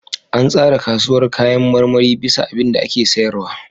An tsara kasuwar kayan marmarin bisa abinda ake sayarwa.